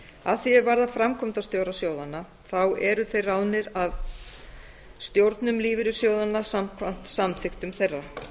að því er varðar framkvæmdastjóra sjóðanna eru þeir ráðnir af stjórnum lífeyrissjóðanna samkvæmt samþykktum þeirra